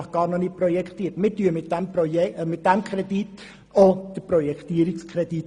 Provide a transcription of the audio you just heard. Mit diesem Kredit genehmigen wir nämlich auch den Projektierungskredit.